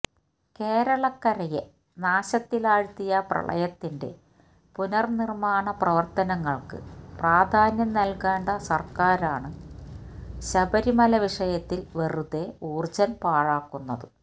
കേരളക്കരയെ നാശത്തിലാഴ്ത്തിയ പ്രളയത്തിന്റെ പുനര്നിര്മാണ പ്രവര്ത്തനങ്ങള്ക്ക് പ്രാധാന്യം നൽകേണ്ട സർക്കാരാണ് ശബരിമല വിഷയത്തിൽ വെറുതേ ഊർജ്ജം പാഴാക്കുന്നത്